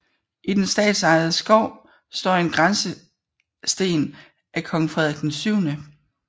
I den statsejede skov står en grænsesten af kong Frederik 7